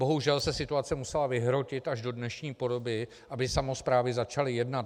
Bohužel se situace musela vyhrotit až do dnešní podoby, aby samosprávy začaly jednat.